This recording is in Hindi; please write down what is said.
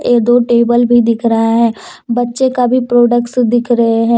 ये दो टेबल भी दिख रहा है बच्चे का भी प्रोडक्श भी दिख रहा है।